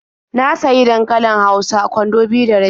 Na sayi dankalin hausa kwando biyu da rabi.